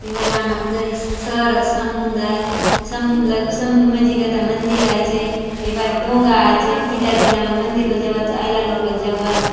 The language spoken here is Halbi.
ये बले आमर दय शहर र समुंद आय समुन्द्र लगे समुन्द्र मंझि गता मंदिर आचे ये बाटे डोंगा आचे पीला झिला मन मंदिर बले जाऊआत आयला लोग बले जाऊआत।